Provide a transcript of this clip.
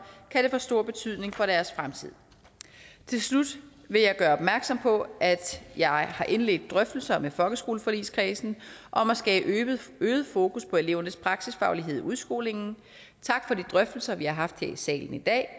kan det få stor betydning for deres fremtid til slut vil jeg gøre opmærksom på at jeg har indledt drøftelser med folkeskoleforligskredsen om at skabe øget fokus på elevernes praksisfaglighed i udskolingen tak for de drøftelser vi har haft her i salen i dag og